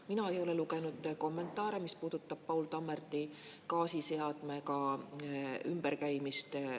Mina ei ole lugenud kommentaare, mis puudutab Paul Tammerti gaasiseadmega ümberkäimist.